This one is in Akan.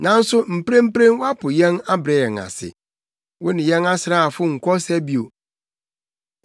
Nanso mprempren woapo yɛn abrɛ yɛn ase; wone yɛn asraafo nkɔ ɔsa bio.